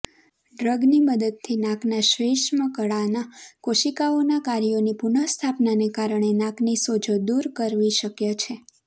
ડ્રગની મદદથી નાકના શ્વૈષ્મકળાના કોશિકાઓના કાર્યોની પુનઃસ્થાપનાને કારણે નાકની સોજો દૂર કરવી શક્ય છે